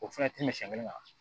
O fana tɛ mɛ siɲɛ kelen kan